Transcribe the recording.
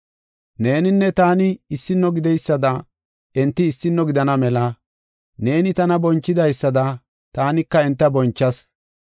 Neeninne taani issino gideysada, enti issino gidana mela, neeni tana bonchidaysada, taanika enta bonchas.